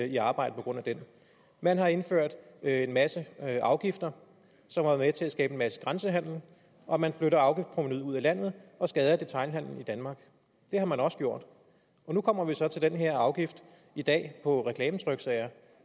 i arbejde på grund af den man har indført en masse afgifter som har været med til at skabe en masse grænsehandel og man flytter afgiftprovenuet ud af landet og skader detailhandlen i danmark det har man også gjort nu kommer vi så til den her afgift i dag på reklametryksager